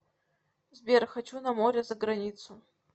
сбер хочу на море заграницу